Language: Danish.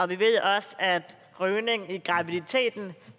vi ved også at rygning i graviditeten